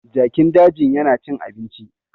Jakin dajin yana cin abinci